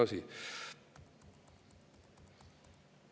–, milles asi.